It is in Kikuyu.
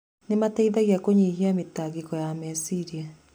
Nĩ mateithagia kũnyihia mĩtangĩko ya meciria.